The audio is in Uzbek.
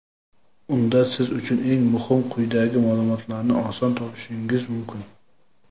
Unda siz uchun eng muhim quyidagi maʼlumotlarni oson topishingiz mumkin.